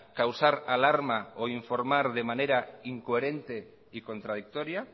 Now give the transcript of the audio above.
causar alarma o informar de fecha incoherente y contradictoria